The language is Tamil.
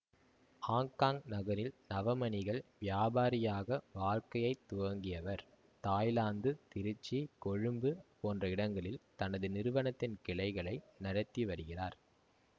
ஆங்காங் நகரில் நவமணிகள் வியாபாரியாக வாழ்க்கையை துவங்கியவர் தாய்லாந்து திருச்சி கொழும்பு போன்ற இடங்களில் தனது நிறுவனத்தின் கிளைகளை நடத்தி வருகிறார்